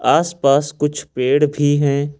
आस पास कुछ पेड़ भी है।